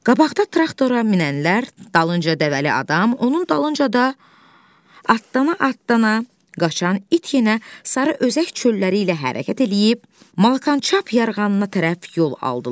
Qabaqda traktora minənlər, dalınca dəvəli adam, onun dalınca da atdana-atdana qaçan it yenə Sarı Özək çölləri ilə hərəkət eləyib, Malakançap yarğanına tərəf yol aldılar.